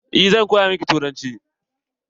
Eh zan koya miki turanci.